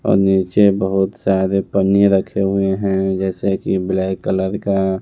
नीचे बहुत सारे पन्नी रखे हुए हैं जैसे कि ब्लैक कलर का।